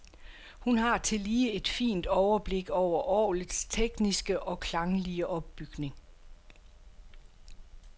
Hun har tillige et fint overblik over orglets tekniske og klanglige opbygning.